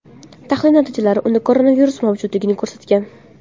Tahlil natijalari unda koronavirus mavjudligini ko‘rsatgan.